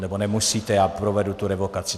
Nebo nemusíte, já provedu tu revokaci.